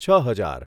છ હજાર